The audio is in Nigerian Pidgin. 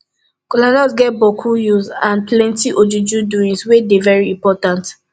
kolanut get bokku use and plenti ojuju doings wey dey very impotant